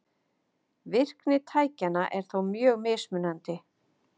Virkni tækjanna er þó mjög mismunandi.